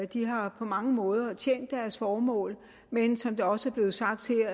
de har på mange måder tjent deres formål men som det også er blevet sagt her